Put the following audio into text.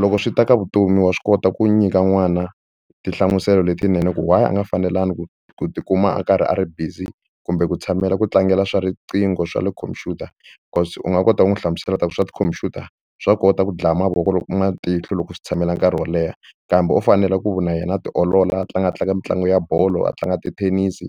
Loko swi ta ka vutomi wa swi kota ku nyika n'wana tinhlamuselo letinene ku why a nga fanelangi ku ku tikuma a karhi a ri busy kumbe ku tshamela ku tlangela swa riqingho swa le khompyuta cause u nga kota ku n'wi hlamusela ku ta ku swa tikhompyuta swa kota ku dlaya mavoko loko matihlo loko u swi tshamela nkarhi wo leha kambe u fanele ku na yena a tiolola a tlanga a tlanga mitlangu ya bolo a tlanga tithenisi